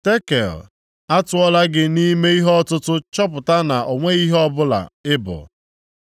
“ Tekel, atụọla gị nʼime ihe ọtụtụ chọpụta na o nweghị ihe ọbụla ị bụ.